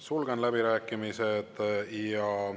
Sulgen läbirääkimised.